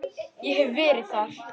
Ég hef verið þar.